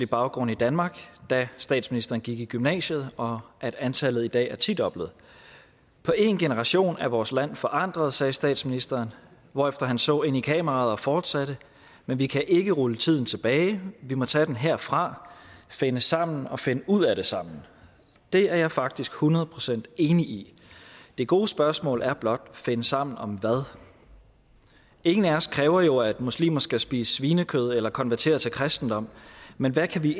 baggrund i danmark da statsministeren gik i gymnasiet og at antallet i dag er tidoblet på én generation er vores land forandret sagde statsministeren hvorefter han så ind i kameraet og fortsatte men vi kan ikke rulle tiden tilbage vi må tage den herfra finde sammen og finde ud af det sammen det er jeg faktisk hundrede procent enig i det gode spørgsmål er blot finde sammen om hvad ingen af os kræver jo at muslimer skal spise svinekød eller konvertere til kristendommen men hvad kan vi